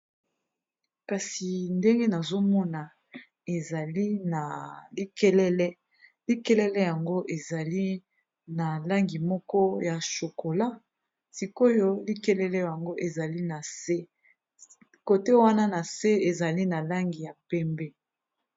Kasi ndenge nazomona ezali na likelele, likelele yango ezali na langi moko ya chokola sikoyo likelele yango ezali na se kote wana na se ezali na langi ya pembe.